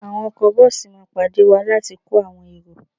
Àwọn ọkọ bọ́ọ̀sì máa pàdé wá láti kó àwọn èrò